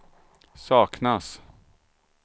saknas